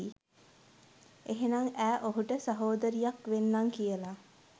එහෙනං ඈ ඔහුට සහෝදරියක් වෙන්නං කියලා